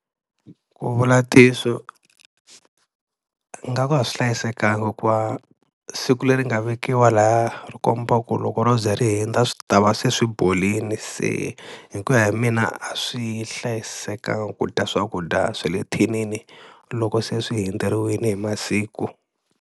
Ku vula ntiyiso ingaku a swi hlayisekanga hikuva siku leri nga vekiwa lahaya ri kombaku loko ro ze ri hundza swi ta va se swi borile se hi ku ya hi mina a swi hlayisekanga ku dya swakudya swa le thinini loko se swi hundzeriwile hi masiku.